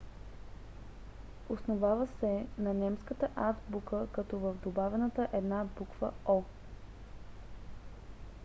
основава се на немската азбука като е добавена една буква õ/õ